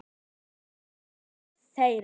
Hann er nú faðir þeirra.